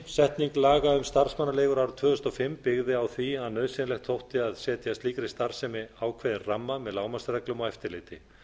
setning laga um starfsmannaleigur árið tvö þúsund og fimm byggði á því að nauðsynlegt þótti að setja slíkri starfsemi ákveðinn ramma með lágmarksreglum og eftirliti